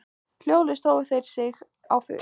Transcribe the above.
Hljóðlaust hófu þeir sig á flug.